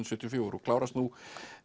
sjötíu og fjögur og klárast nú